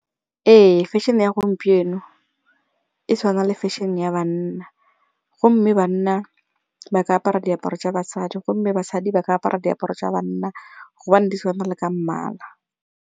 Ee fashion-e ya gompieno e tshwana le fashion-e ya banna gomme banna ba ka apara diaparo tsa basadi gomme basadi ba ka apara diaparo tsa banna gobane di tshwana le ka mmala.